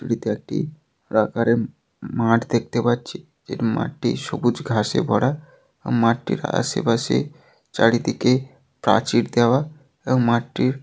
তোড়িতো একটিই প্রাকারের উম মাআঠ দেখতে পাচ্ছিই এর মাঠ টি সবুজ ঘাসে ভরাআ মাঠটির আশেপাশে চারিদিকে প্রাচীর দেওয়া এবং মাটির।